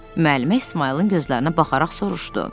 Müəllimə İsmayılın gözlərinə baxaraq soruşdu.